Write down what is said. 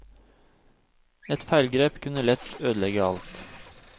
Et feilgrep kunne lett ødelegge alt.